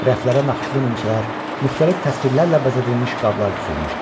Rəflərə naxışlı nimçələr, müxtəlif təsvirlərlə bəzədilmiş qablar düzülmüşdü.